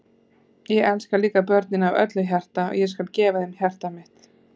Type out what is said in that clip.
Ég elska líka börnin af öllu hjarta og ég skal gefa þeim hjarta mitt.